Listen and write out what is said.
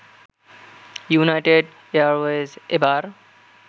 United এয়ারওয়েজে এবার